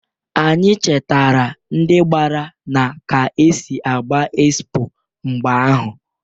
Anyi chetara ndị gbara na ka esi agba ekspo mgbe ahụ.